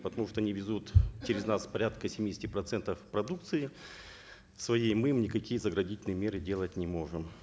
потому что они везут через нас порядка семидесяти процентов продукции своей мы им никакие заградительные меры делать не можем